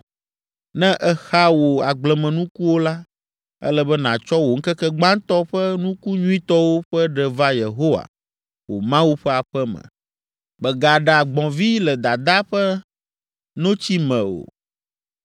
“Ne èxa wò agblemenukuwo la, ele be nàtsɔ wò ŋkeke gbãtɔ ƒe nuku nyuitɔwo ƒe ɖe va Yehowa, wò Mawu ƒe aƒe me. “Mègaɖa gbɔ̃vi le dadaa ƒe notsi me o.”